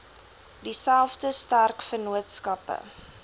dieselfde sterk vennootskappe